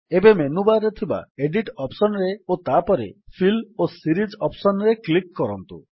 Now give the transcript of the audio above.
ଏବେ ମେନୁବାର୍ ରେ ଥିବା ଏଡିଟ୍ ଅପ୍ସନ୍ ରେ ଓ ତାପରେ ଫିଲ୍ ଓ ସିରିଜ୍ ଅପ୍ସନ୍ ରେ କ୍ଲିକ୍ କରନ୍ତୁ